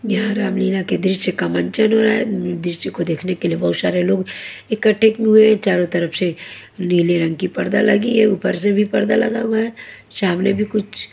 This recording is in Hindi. यहां रामलीला के दृश्य का मंचन हो रहा है दृश्य को देखने के लिए बहोत सारे लोग इकट्ठे हुए हैं चारों तरफ से नीले रंग की पर्दा लगी है ऊपर से भी पर्दा लगा हुआ है सामने भी कुछ--